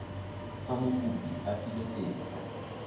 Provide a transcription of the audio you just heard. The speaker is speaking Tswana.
fa mokopi a filwe tetla